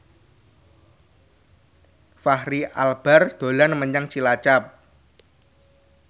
Fachri Albar dolan menyang Cilacap